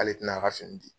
K'ale tɛna ka fini di